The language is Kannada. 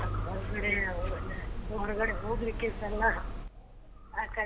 ಹೊರ್ಗಡೆ ಹೋಗ್ಲಿಕ್ಕೆಸ ಇಲ್ಲ ಆಕಡೆ.